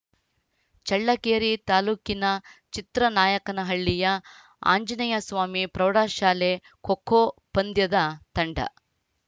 ಚಳ್ಳಕೆರೆ ತಾಲೂಕಿನ ಚಿತ್ರನಾಯಕನಹಳ್ಳಿಯ ಆಂಜನೇಯಸ್ವಾಮಿ ಪ್ರೌಢಶಾಲೆ ಖೋ ಖೋ ಪಂದ್ಯದ ತಂಡ